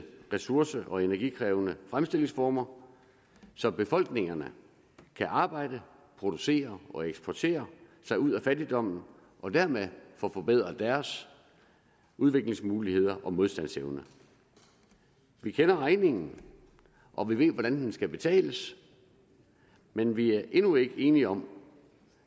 ressource og energikrævende fremstillingsformer så befolkningerne kan arbejde producere og eksportere sig ud af fattigdommen og dermed få forbedret deres udviklingsmuligheder og modstandsevne vi kender regningen og vi ved hvordan den skal betales men vi er endnu ikke enige om